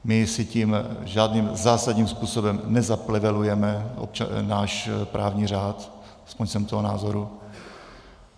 My si tím žádným zásadním způsobem nezaplevelujeme náš právní řád, aspoň jsem toho názoru.